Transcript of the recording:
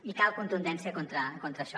i cal contundència contra això